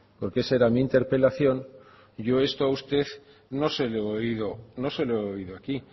porque esa era mi interpelación yo esto a usted no se lo he oído aquí